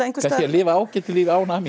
lifa ágætu lífi án hamingju